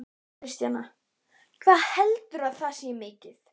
Kristjana: Hvað heldurðu að þetta sé mikið?